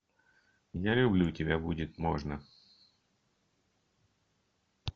я люблю тебя будет можно